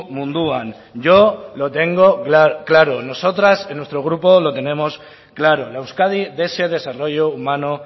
munduan yo lo tengo claro nosotras en nuestro grupo lo tenemos claro la euskadi de ese desarrollo humano